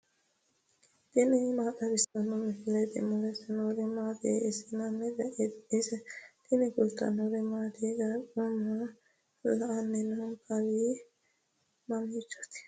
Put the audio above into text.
tini maa xawissanno misileeti ? mulese noori maati ? hiissinannite ise ? tini kultannori mattiya? Qaaqqu maa la'anni no? Kawii mamichooti?